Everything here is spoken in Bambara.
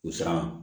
U siran